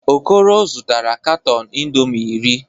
Okoro zụtara katọn indọmii iri.